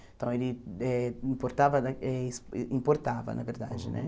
Então, ele eh importava, na eh ex importava na verdade, né?